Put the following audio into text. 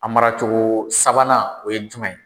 A maracogo sabanan o ye jumɛn ye?